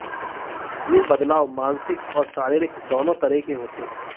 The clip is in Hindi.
ये बदलाव मानसिक और शारीरिक दोनों तरह के होते हैं